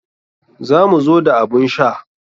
Za mu zo da abun sha.